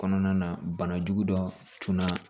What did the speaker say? Kɔnɔna na banajugu dɔ tunna